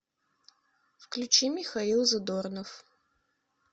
включи михаил задорнов